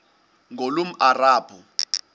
ngulomarabu